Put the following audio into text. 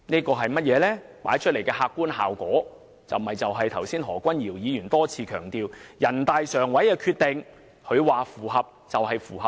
這帶出的客觀效果是，正如何君堯議員剛才多次強調，人大常委會的《決定》認為符合便是符合。